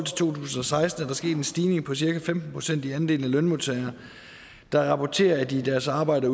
tusind og seksten en stigning på cirka femten procent i andelen af lønmodtagere der rapporterer at de i deres arbejde